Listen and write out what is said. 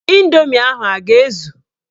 Ịndoomi ahụ a ga-ezu?